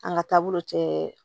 An ka taabolo cɛ